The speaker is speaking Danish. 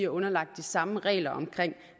underlagt de samme regler om